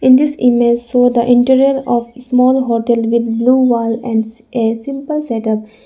in this image show the interior of small hotel with blue wall and a simple setup.